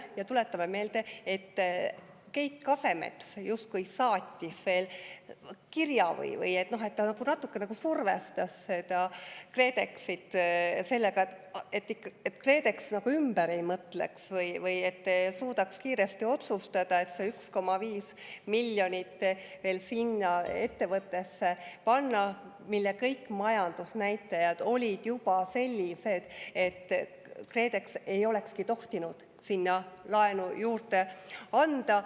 Ja tuletame meelde, et Keit Kasemets justkui saatis veel kirja või ta nagu natuke survestas KredExit sellega, et KredEx ümber ei mõtleks ja et ta suudaks kiiresti otsustada panna see 1,5 miljonit veel sinna ettevõttesse, mille kõik majandusnäitajad olid juba sellised, et KredEx ei olekski tohtinud sinna laenu juurde anda.